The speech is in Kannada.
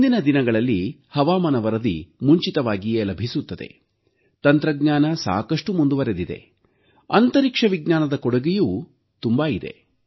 ಇಂದಿನ ದಿನಗಳಲ್ಲಿ ಹವಾಮಾನ ವರದಿ ಮುಂಚಿತವಾಗಿಯೇ ಲಭಿಸುತ್ತದೆ ತಂತ್ರಜ್ಞಾನ ಸಾಕಷ್ಟು ಮುಂದುವರಿದಿದೆ ಅಂತರಿಕ್ಷ ವಿಜ್ಞಾನದ ಕೊಡುಗೆಯೂ ತುಂಬಾ ಇದೆ